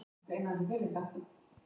Eftir hvern er leikritið Sölumaður deyr?